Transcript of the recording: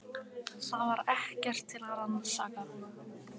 Það var ekkert til að rannsaka.